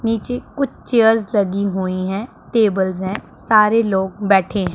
नीचे कुछ चेयर्स लगी हुई है टेबल्स है सारे लोग बैठे--